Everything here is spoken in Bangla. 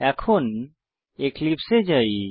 এখন এক্লিপসে এ যাই